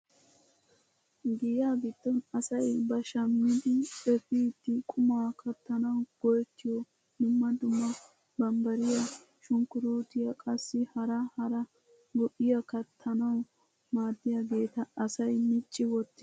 Giya giddon asay ba shammidi epiidi qumaa kattanawu go"ettiyoo dumma dumma bambbariyaa shunkuruutiyaa qassi hara hara go"iyaa kattanawu maaddiyaageta asay micci wottiis.